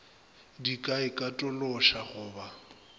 di ka ikatološa go ba